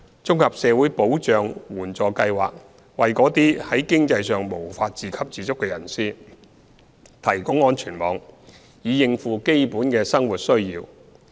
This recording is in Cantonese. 綜合社會保障援助計劃為那些在經濟上無法自給自足的人士提供安全網，以應付基本生活需要。